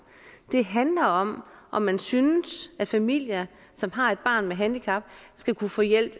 det handler om om man synes at familier som har et barn med handicap skal kunne få hjælp